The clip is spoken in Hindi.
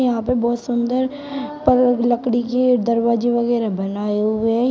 यहां पे बहोत सुंदर पर लकड़ी के दरवाजे वगैरा बनाए हुए--